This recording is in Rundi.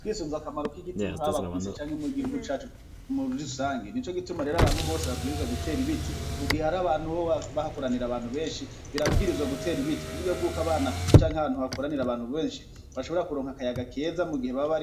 Twisunze akamaro k'igiti haba kw'isi canke mu gihugu cacu muri rusangi, nico gituma rero abantu bose babwirizwa gutera ibiti, mu gihe ari ahantu hoho hakoranira abantu benshi birabwirizwa gutera ibiti ku buryo bwuko abana canke ahantu hakoranira abantu benshi bashobora kuronka akayaga keza mu gihe baba